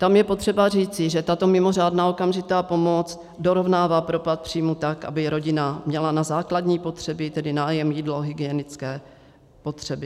Tam je potřeba říci, že tato mimořádná okamžitá pomoc dorovnává propad příjmů tak, aby rodina měla na základní potřeby, tedy nájem, jídlo, hygienické potřeby.